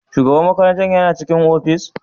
Shugaban makarantar yana cikin ofis?